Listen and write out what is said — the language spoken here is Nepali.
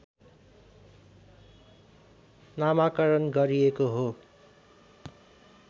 नामाकरण गरिएको हो